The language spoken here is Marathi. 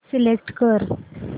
सिलेक्ट कर